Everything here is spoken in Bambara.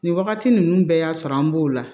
Nin wagati ninnu bɛɛ y'a sɔrɔ an b'o la